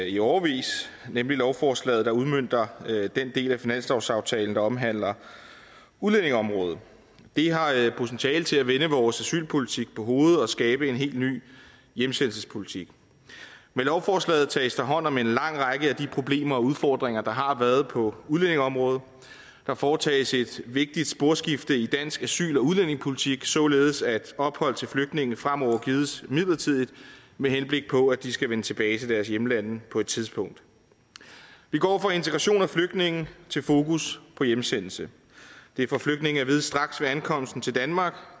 i årevis nemlig lovforslaget der udmønter den del af finanslovsaftalen der omhandler udlændingeområdet det har potentiale til at vende vores asylpolitik på hovedet og skabe en helt ny hjemsendelsespolitik med lovforslaget tages der hånd om en lang række af de problemer og udfordringer der har været på udlændingeområdet der foretages et vigtigt sporskifte i dansk asyl og udlændingepolitik således at ophold til flygtninge fremover gives midlertidigt med henblik på at de skal vende tilbage til deres hjemlande på et tidspunkt vi går fra integration af flygtninge til fokus på hjemsendelse det får flygtninge at vide straks ved ankomsten til danmark